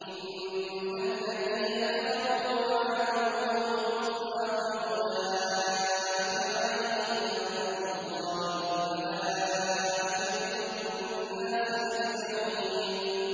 إِنَّ الَّذِينَ كَفَرُوا وَمَاتُوا وَهُمْ كُفَّارٌ أُولَٰئِكَ عَلَيْهِمْ لَعْنَةُ اللَّهِ وَالْمَلَائِكَةِ وَالنَّاسِ أَجْمَعِينَ